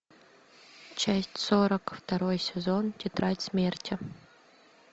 часть сорок второй сезон тетрадь смерти